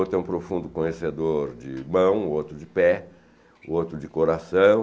Outro é um profundo conhecedor de mão, outro de pé, outro de coração.